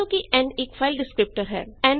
ਮੰਨ ਲਓ ਕਿ n ਇੱਕ ਫਾਈਲ ਡਿਸਕ੍ਰਿਪਟਰ ਹੈ